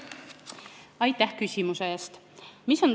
Aitäh küsimuse eest!